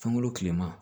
Fɛnko tileman